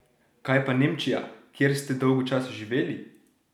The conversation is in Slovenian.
Kaj pa Nemčija, kjer ste dolgo časa živeli?